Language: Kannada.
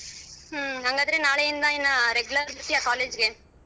ಹ್ಮ ಅಂಗಾದ್ರೆ ನಾಳಿಯಿಂದ ಇನ್ನಾ regular ಬರ್ತೀಯಾ college ಗೆ.